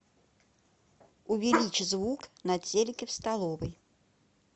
увеличь звук на телике в столовой